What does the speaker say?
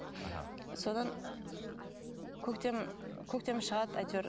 аха содан көктем көктем шығады әйтеуір